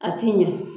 A ti ɲɛ